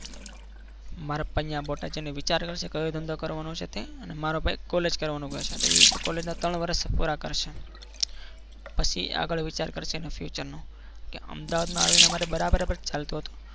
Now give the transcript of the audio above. મારા પપ્પા અહીંયા બોટાદ જઈને વિચાર કરશે કે હવે ધંધો કરવાનો છે? તે અને મારો ભાઈ college કરવાનું કહે છે તો એ તો college ના ત્રણ વર્ષ પૂરા કરશે પછી આગળ વિચાર કરશે એના future નું કે અમદાવાદમાં આવીને અમારે બરાબર ચાલતું હતું.